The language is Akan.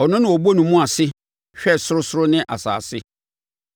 ɔno na ɔbɔ ne mu ase hwɛ ɔsorosoro ne asase.